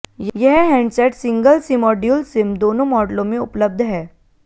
यह handset single SIM और dual SIM दोनों मॉडलों में उपलब्ध है